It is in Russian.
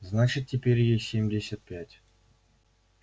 значит теперь ей семьдесят пять